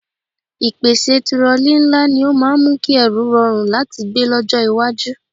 Ìpèsè tirọlí ńlá ni ó máa ń mú kí ẹrù rọrùn láti gbé lọ́jọ́ iwájú